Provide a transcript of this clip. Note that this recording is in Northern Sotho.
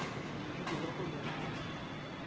modudi wa go ya go